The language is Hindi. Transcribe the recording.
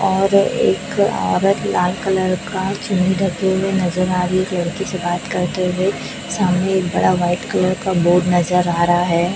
और एक औरत लाल कलर का चुनरी ढके हुए नज़र आ रही है एक लड़की से बात करते हुए सामने एक बड़ा व्हाइट कलर का बोर्ड नज़र आ रहा है।